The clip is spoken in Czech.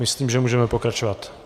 Myslím, že můžeme pokračovat.